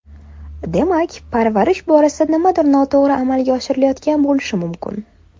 Demak, parvarish borasida nimadir noto‘g‘ri amalga oshirilayotgan bo‘lishi mumkin.